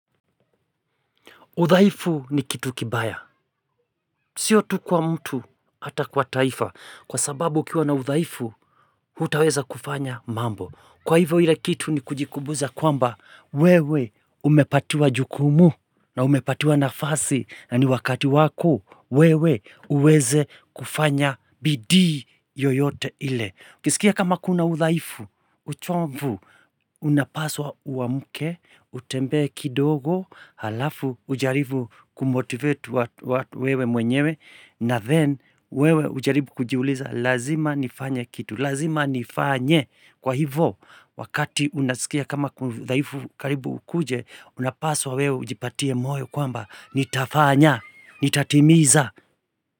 Udhaifu ni kitu kibaya. Sio tu kwa mtu hata kwa taifa. Kwa sababu ukiwa na udhaifu, hutaweza kufanya mambo. Kwa hivyo ile kitu ni kujikubuza kwamba wewe umepatiwa jukumu na umepatiwa nafasi na ni wakati wako wewe uweze kufanya bidii yoyote ile. Ukisikia kama kuna udhaifu, uchovu, unapaswa uamke, utembee kidogo, halafu ujarifu kumotivate watu wewe mwenyewe, na then wewe ujaribu kujiuliza, lazima nifanye kitu, lazima nifanye kwa hivo, wakati unasikia kama kuna udhaifu unapaswa wewe ujipatie moyo kwamba, nitafanya, nitatimiza.